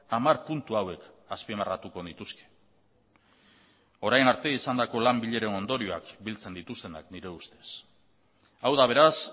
hamar puntu hauek azpimarratuko nituzke orain arte izandako lan bileren ondorioak biltzen dituztenak nire ustez hau da beraz